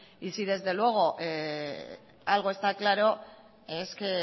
y si desde luego algo está claro es que